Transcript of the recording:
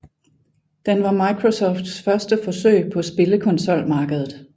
Den var Microsofts første forsøg på spillekonsolmarkedet